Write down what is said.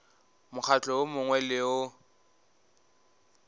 mokgatlo wo mongwe le wo